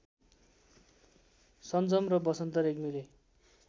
सन्जम र बसन्त रेग्मीले